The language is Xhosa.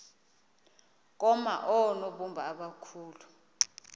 koma oonobumba abakhulu